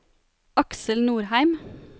Aksel Nordheim